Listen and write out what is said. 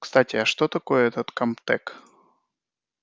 кстати а что такое этот камтек